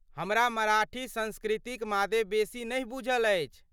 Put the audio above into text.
हमरा मराठी संस्कृतिक मादे बेसी नहि बूझल अछि।